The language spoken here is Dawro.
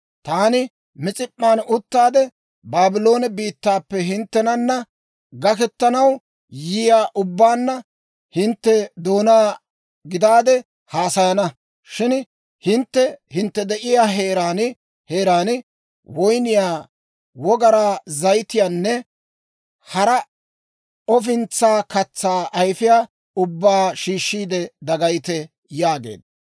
Taani Mis'ip'p'an uttaade, Baabloone biittaappe hinttenana gakketanaw yiyaa ubbaanna hintte doonaa gidaade haasayana. Shin hintte hintte de'iyaa heeraan heeraan woyniyaa, wogaraa zayitiyaanne hara ofintsaa katsaa ayifiyaa ubbaa shiishshiide dagayite» yaageedda.